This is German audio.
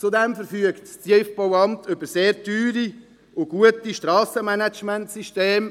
Zudem verfügt das TBA über sehr teure und gute Strassenmanagementsysteme.